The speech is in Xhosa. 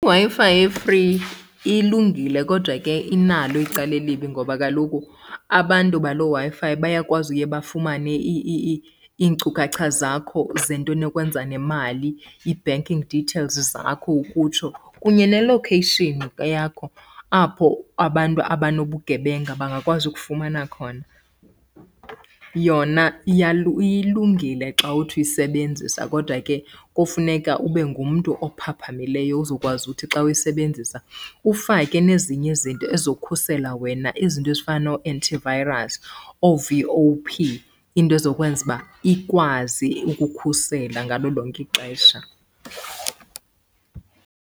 IWi-Fi e-free ilungile kodwa ke inalo icala elibi ngoba kaloku abantu baloo Wi-Fi bayakwazi uye bafumane iinkcukacha zakho zento enokwenza nemali, i-banking details zakho ukutsho kunye ne-location yakho apho abantu abanobugebenga bangakwazi ukufumana khona. Yona ilungile xa uthi uyisebenzisa kodwa ke kofuneka ube ngumntu ophaphamileyo uzokwazi uthi xa uyisebenzisa ufake nezinye izinto ezizokhusela wena. Izinto ezifana noo-antivirus, oo-V_O_P, into ezokwenza uba ikwazi ukukhusela ngalo lonke ixesha.